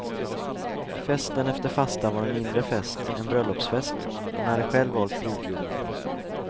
Festen efter fastan var en inre fest, en bröllopsfest, och hon hade själv valt brudgummen.